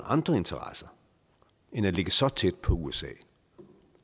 andre interesser end at ligge så tæt på usa